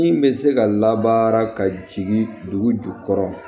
Min bɛ se ka labaara ka jigin dugu jukɔrɔ